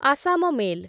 Assam mail